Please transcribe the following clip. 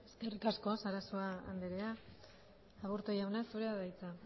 eskerrik asko sarasua andrea aburto jauna zurea da hitza